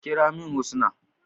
Ki kira min Husnah.